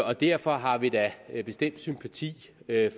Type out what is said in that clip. og derfor har vi da bestemt sympati